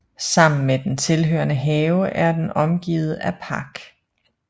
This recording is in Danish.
Sammen med den tilhørende have er den omgivet af park